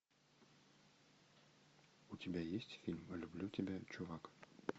у тебя есть фильм люблю тебя чувак